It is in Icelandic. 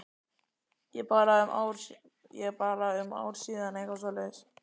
Ég bara um ár síðan eða eitthvað svoleiðis?